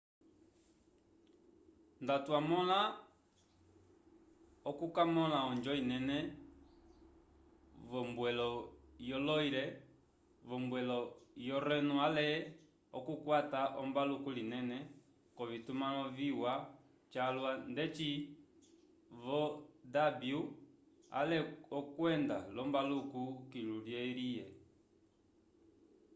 ndatwamõla okukamõla onjo inene v'ombwelo yo loire v'ombwelo yo reno ale okukwata ombaluku linene k'ovitumãlo viwa calwa ndeci vo danúbio ale okwenda l'ombaluku kilu lyo erie